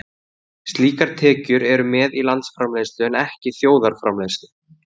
Slíkar tekjur eru með í landsframleiðslu en ekki þjóðarframleiðslu.